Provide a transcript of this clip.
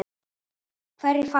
Hverjir falla?